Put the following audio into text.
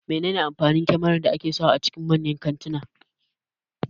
Mene ne amfanin kyamarar tsaro da ake sa wa a cikin manyan kantuna